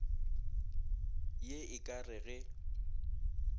ye e ka re ge